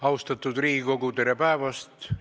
Austatud Riigikogu, tere päevast!